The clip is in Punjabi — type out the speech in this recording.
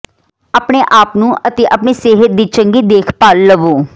ਆਪਣੇ ਆਪ ਨੂੰ ਅਤੇ ਆਪਣੀ ਸਿਹਤ ਦੀ ਚੰਗੀ ਦੇਖਭਾਲ ਲਵੋ